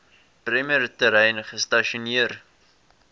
bremer terrein gestasioneer